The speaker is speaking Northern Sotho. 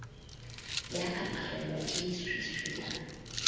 ya aparelwa ke leswiswi la